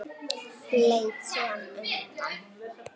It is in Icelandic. Leit síðan undan.